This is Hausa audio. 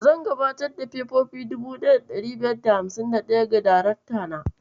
Zan gabatar da fefofi 1551 ga darakta na.